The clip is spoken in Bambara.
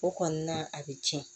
O kɔni na a bɛ tiɲɛ